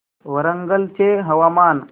वरंगल चे हवामान